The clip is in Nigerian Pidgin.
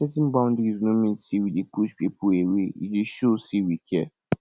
setting boundaries no mean say we dey push people away e dey show sey we care